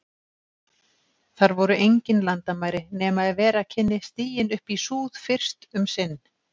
Þar voru engin landamæri, nema ef vera kynni stiginn upp í súð- fyrst um sinn.